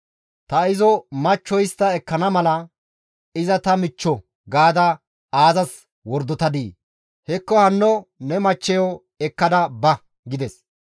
Ta izo machcho ekkana mala, ‹Iza ta michcho› gaada aazas wordotadii? Hekko hanno ne machcheyo ekkada ba!» gides.